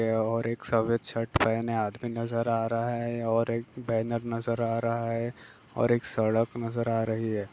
ए -और एक सफेद शर्ट पहनें आदमी नजर आ रहा है। और एक बैनर नजर आ रहा है और एक सड़क नजर आ रही है।